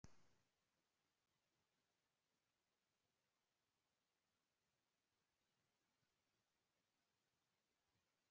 Páll Skúlason hefur fjallað nokkuð um þau og skilgreinir þannig að náttúran sé.